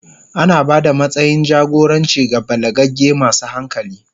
Ana ba da matsayin jagoranci ga balagagge masu hankali.